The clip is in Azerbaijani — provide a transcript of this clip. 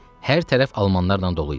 Hər tərəf almanlarla dolu idi.